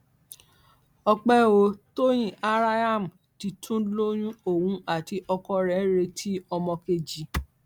ọpẹ ò tóyin araham ti tún lóyún òun àti ọkọ rẹ ń retí ọmọ kejì